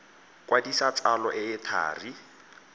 kwadisa tsalo e e thari